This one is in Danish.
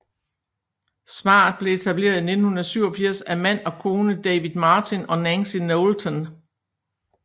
Smart blev etableret i 1987 af mand og kone David Martin og Nancy Knowlton